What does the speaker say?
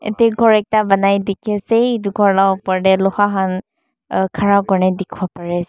Yatae ghor ekta banai dikiasae etu kor laa opor dae loha han khara kurina dikipo pari asae.